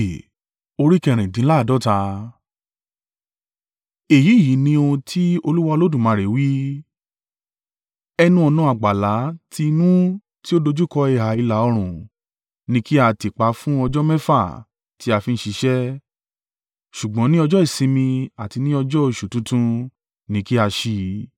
“ ‘Èyí yìí ni ohun tí Olúwa Olódùmarè wí, ẹnu-ọ̀nà àgbàlá ti inú tí ó dojúkọ ìhà ìlà-oòrùn ni kí a tì pa fún ọjọ́ mẹ́fà tí a fi ń ṣiṣẹ́, ṣùgbọ́n ní ọjọ́ ìsinmi àti ní ọjọ́ oṣù tuntun ni kí a ṣí i.